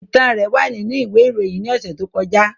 Itan rẹ wa ninu iwe iroyin ni ọsẹ to kọja.